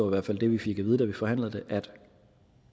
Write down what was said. hvert fald det vi fik at vide da vi forhandlede det at